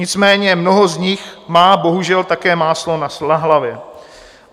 Nicméně mnoho z nich má bohužel také máslo na hlavě.